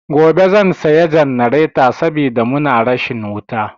Gobe zan saya jannareta saboda muna rashin wuta.